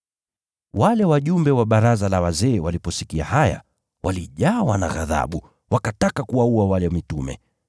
Wale wajumbe wa baraza la wazee waliposikia haya, walijawa na ghadhabu, wakataka kuwaua mitume.